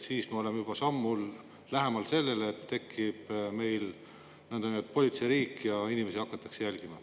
Siis me oleksime juba sammu võrra lähemal sellele, et meil tekib nõndanimetatud politseiriik ja inimesi hakatakse jälgima.